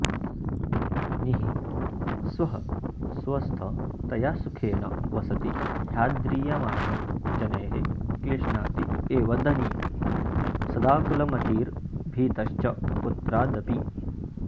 निःस्वः स्वस्थतया सुखेन वसति ह्याद्रीयमाणो जनैः क्लिश्नात्येव धनी सदाकुलमतिर्भीतश्च पुत्रादपि